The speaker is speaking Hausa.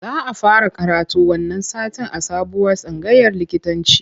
Za a fara karatu wannan satin a sabuwar tsangayar likitanci